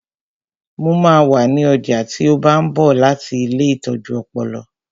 Mo máa wà ní ọjà tí ó bá ń bọ̀ láti ilée ìtọ́jú ọpọlọ